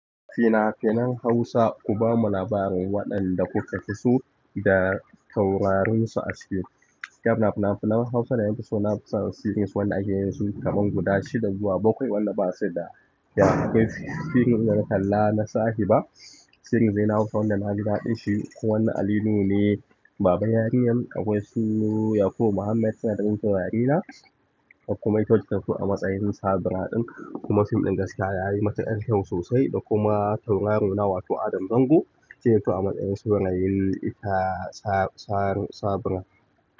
Fina-finan Hausa, ku bamu labarin waɗanda kuka fi so da taurarinsu a fim. Kaf na fina-finan Hausa na yan fuska, na fi son series waɗanda ake yanzu kaman guda shida zuwa bakwai waɗanda ba sai da ya kai fim ɗin na kalla na sake ba. Shiri ne na hausa wanda naji daɗin shi kuma na Ali nuhu ne baban yarinyar akwai su yakubu Muhammad suka fito a matsayin taurarina na. Akwai kuma ita wacce ta fito a matsayin sabira din kuma fim ɗin gaskiya yayi matuƙar kyau sosai da kuma taurarin nan wato Adam Zango yake zuwa matsayin sabonayil ita sa-sa-sabira.